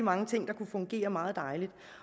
mange ting der kunne fungere meget dejligt